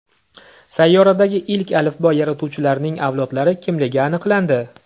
Sayyoradagi ilk alifbo yaratuvchilarining avlodlari kimligi aniqlandi.